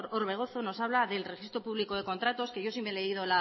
orbegozo nos habla del registro público de contratos que yo sí me he leído